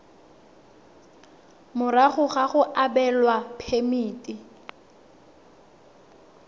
morago ga go abelwa phemiti